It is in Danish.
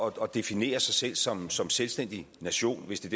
at definere sig selv som som selvstændig nation hvis det